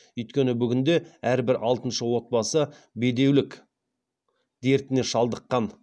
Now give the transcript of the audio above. өйткені бүгінде әрбір алтыншы отбасы бедеулік дертіне шалдыққан